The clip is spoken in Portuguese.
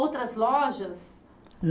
Outras lojas?